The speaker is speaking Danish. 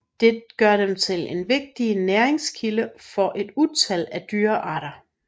Det gør dem til en vigtig næringskilde for et utal af dyrearter